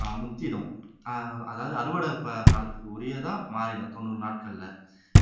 அஹ் முத்திடும் அஹ் அதாவது அறுவடை ப காலத்துக்கு உரியதா மாறிடும் தொண்ணூறு நாட்கள்ல